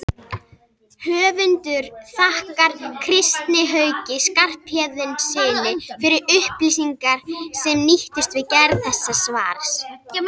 Höfundur þakkar Kristni Hauki Skarphéðinssyni fyrir upplýsingar sem nýttust við gerð þessa svars.